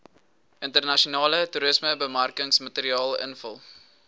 internasionale toerismebemarkingsmateriaal invul